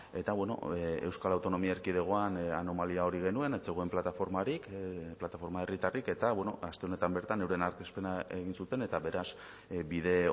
eta euskal autonomia erkidegoan anomalia hori genuen ez zegoen plataformarik plataforma herritarrik eta aste honetan bertan euren aurkezpena egin zuten eta beraz bide